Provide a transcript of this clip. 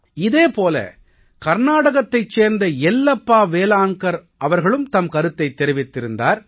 இதே போல கர்நாடகத்தைச் சேர்ந்த யெல்லப்பா வேலான்கர் அவர்களும் தம் கருத்தைத் தெரிவித்திருந்தார்